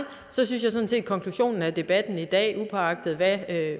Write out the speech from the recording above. er konklusionen af debatten i dag uagtet hvad